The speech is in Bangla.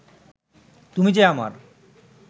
তুমি যে আমার